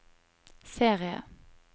serie